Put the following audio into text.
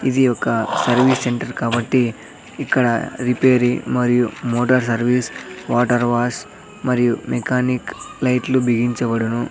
ఇది ఒక service centre కాబట్టి ఇక్కడ రిపేరి మరియు మోటార్ సర్వీస్ వాటార్ వాస్ మరియు మెకానిక్ లైట్లు బిగించబడును.